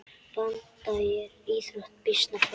Branda er íþrótt býsna forn.